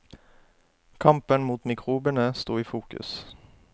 Kampen mot mikrobene sto i fokus.